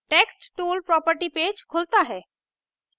text tool property page खुलता है